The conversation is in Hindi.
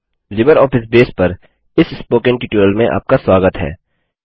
लिबरऑफिस बेस पर इस स्पोकन ट्यूटोरियल में आपका स्वागत है